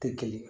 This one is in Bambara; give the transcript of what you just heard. Tɛ kelen ye